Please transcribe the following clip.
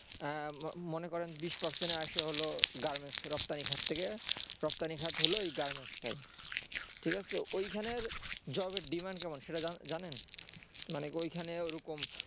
মনে করেন বিশ percent এর আসে হলো garments এর রপ্তানি খাত থেকে রপ্তানি খাত হলো ওই garments টাই ঠিকাছে ঐখানের job এর demand কেমন সেটা জানেন মানে ওইখানে ওরকম